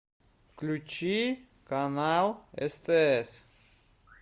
включи канал стс